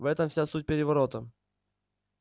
в этом вся суть переворота